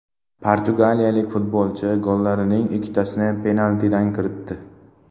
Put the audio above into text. Portugaliyalik futbolchi gollarining ikkitasini penaltidan kiritdi.